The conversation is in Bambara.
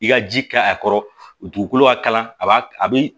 I ka ji kɛ a kɔrɔ dugukolo ka kalan a b'a a bi